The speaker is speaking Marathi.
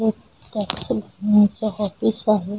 एक टैक्सी मोठा ऑफिस आहे.